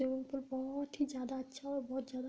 ये उन पर बोहोत ही ज्यादा अच्छा और बोहोत ज्यादा --